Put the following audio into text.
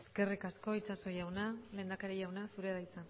eskerrik asko itxaso jauna lehendakari jauna zurea da hitza